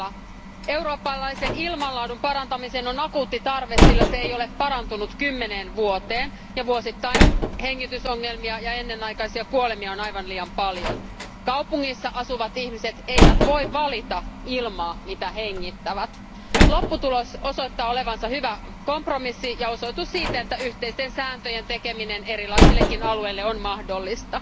Arvoisa puhemies, tärkeä aihe näin myöhään illalla. Eurooppalaisen ilmanlaadun parantamiseen on akuutti tarve, sillä se ei ole parantunut kymmeneen vuoteen. Vuosittain hengitysongelmia ja ennenaikaisia kuolemia on aivan liian paljon. Kaupungeissa asuvat ihmiset eivät voi valita ilmaa mitä hengittävät. Lopputulos osoittaa olevansa hyvä kompromissi ja osoitus siitä, että yhteisten sääntöjen tekeminen erilaisillekin alueille on mahdollista.